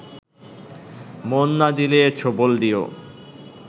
মন না দিলে ছোবল দিও